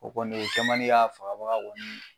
O kɔni , o kɛ man di ka fagabaga